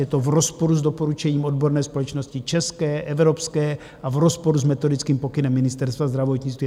Je to v rozporu s doporučením odborné společnosti české, evropské a v rozporu s metodickým pokynem Ministerstva zdravotnictví.